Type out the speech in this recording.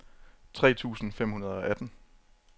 tre tusind fem hundrede og atten